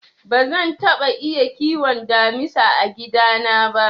Bazan taɓa iya kiwon damisa a gida na ba.